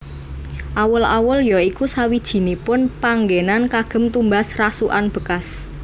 Awul awul ya iku sawijinipun panggenan kagem tumbas rasukan bekas